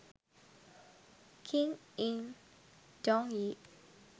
king in dong yi